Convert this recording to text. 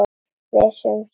Viss um sekt mína.